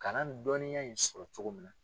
Kalan dɔnniya in sɔrɔ cogo min na.